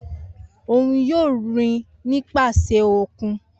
Oun yoo rin nipasẹ okun.